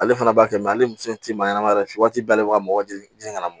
Ale fana b'a kɛ ale ni muso in ti maɲɛnama yɛrɛ fɛ waati bɛɛ ale bi ka mɔgɔ jigin ka na